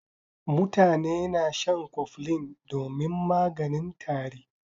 Mutane na shan koflin domin maganin tari.